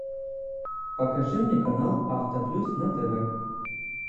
покажи мне канал авто плюс на тв